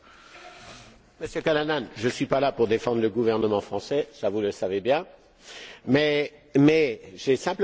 Monsieur Callanan, je ne suis pas là pour défendre le gouvernement français, vous le savez bien. J'ai simplement une question.